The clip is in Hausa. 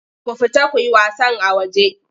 Ku fita ku yi wasan a waje!